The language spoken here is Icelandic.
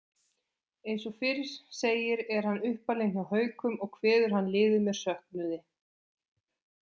Eins og fyrr segir er hann uppalinn hjá Haukum og kveður hann liðið með söknuði.